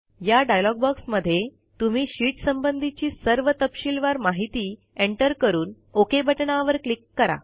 या डायलॉग बॉक्समध्ये तुम्ही शीट संबंधीची सर्व तपशीलवार माहिती एंटर करून ओक बटणावर क्लिक करा